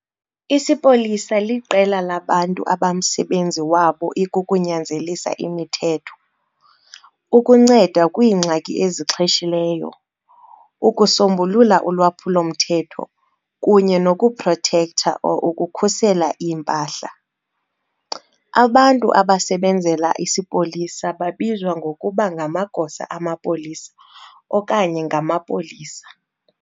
Isipolisa liqela labantu abamsebenzi wabo ikukunyanzelisa imithetho, ukunceda kwiingxaki ezixheshileyo, ukusombulula ulwaphulo mthetho kunye nokuprotector | ukukhusela iimpahla. Abantu abasebenzela isipolisa babizwa ngokuba ngamagosa amapolisa okanye ngamapolisa.